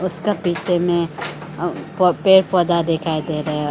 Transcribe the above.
इसका पीछे में अह पेड़ पौधा दिखाई दे रहा है।